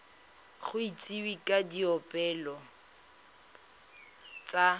go itsisiwe ka dipoelo tsa